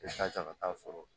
I ka ca ka taa sɔrɔ